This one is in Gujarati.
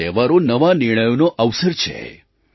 આ તહેવારો નવા નિર્ણયોનો અવસર છે